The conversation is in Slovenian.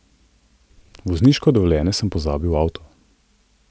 Vozniško dovoljenje sem pozabil v avtu.